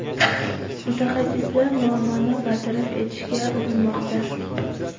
Mutaxassislar muammoni bartaraf etishga urinmoqda.